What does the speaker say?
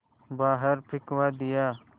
बाहर फिंकवा दिया